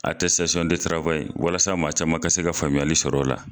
Atɛsitasɔn de tarawayi walasa maa caman ka se ka faamuyali sɔrɔ o la